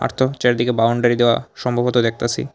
চারিদিকে বাউন্ডারি দেওয়া সম্ভবত দেখতাছি।